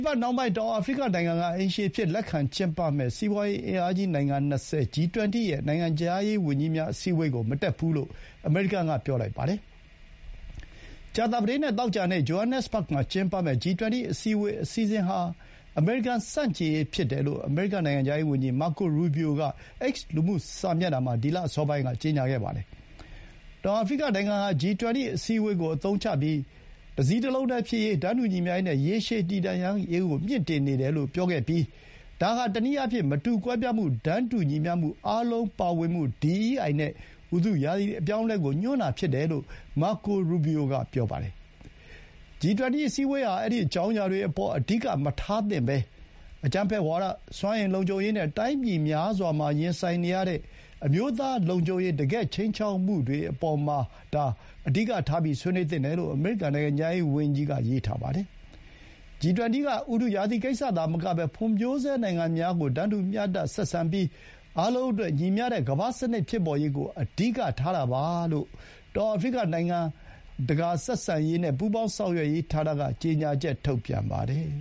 ပတ်နှောင်းပိုင်း တောင်အာဖရိကနိုင်ငံက အိမ်ရှင်အဖြစ် လက်ခံကျင်းပမယ့် စီးပွါးရေး အင်အားကြီး နိုင်ငံ ၂၀ (G20) ရဲ့ နိုင်ငံခြားရေးဝန်ကြီးများ အစည်းအဝေးကို မတက်ဘူးလို့ အမေရိကန်က ပြောလိုက်ပါတယ်။ ကြာသပတေးနဲ့ သောကြာနေ့ ဂျိုဟန်နက်စ်ဘဂ်မှာ ကျင်းပမယ့် G20 အစည်းအဝေး အစီအစဥ်ဟာ အမေရိကန်ဆန့်ကျင်ရေး ဖြစ်တယ်လို့ အမေရိကန် နိုင်ငံခြားရေးဝန်ကြီး Marco Rubio က X လူမှုစာမျက်နှာမှာ ဒီလအစောပိုင်းက ကြေညာခဲ့ပါတယ်။ တောင်အာဖရိကနိုင်ငံဟာ G20 အစည်းအဝေးကို အသုံးချပြီး တစည်းတလုံးတည်းဖြစ်ရေး၊ တန်းတူညီမျှရေးနဲ့ ရေရှည်တည်တံ့ရေးကို မြှင့်တင်နေတယ်လို့ပြောပြီး ဒါဟာ တနည်းအားဖြင့် မတူကွဲပြားမှု၊ တန်းတူညီမျှမှု၊ အားလုံးပါဝင်မှု DEI နဲ့ ဥတုရာသီ အပြောင်းအလဲကို ညွှန်းတာဖြစ်တယ်လို့ Marco Rubio က ဆိုပါတယ်။ G20 အစည်းအဝေးဟာ အဲဒီ အကြောင်းအရာတွေအပေါ် အဓိက မထားသင့်ဘဲ အကြမ်းဖက်ဝါဒ၊ စွမ်းအင်လုံခြုံရေးနဲ့ တိုင်းပြည်များစွာမှာ ရင်ဆိုင်နေရတဲ့ အမျိုးသားလုံခြုံရေး တကယ့် ခြိမ်းခြောက်မှုလို ကိစ္စရပ်တွေအပေါ်မှာ အဓိကထား ဆွေးနွေးသင့်တယ်လို့ အမေရိကန် နိုင်ငံခြားရေးဝန်ကြီးက ရေးထားပါတယ်။ G20 က ဥတုရာသီကိစ္စသာမကဘဲ ဖွံ့ဖြိုးဆဲနိုင်ငံများကို တန်းတူ မျှတ ဆက်ဆံပြီး အားလုံးအတွက် ညီမျှတဲ့ ကမ္ဘာ့စနစ်ဖြစ်ပေါ်ရေးကို အဓိကထားတာပါလို့ တောင်အာဖရိက နိုင်ငံတကာ ဆက်ဆံရေးနဲ့ ပူးပေါင်းဆောင်ရွက်ရေးဌာနက ကြေညာချက် ထုတ်ပြန်ပါတယ်